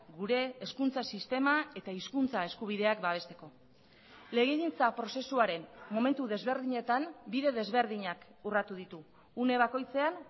gure hezkuntza sistema eta hizkuntza eskubideak babesteko legegintza prozesuaren momentu desberdinetan bide desberdinak urratu ditu une bakoitzean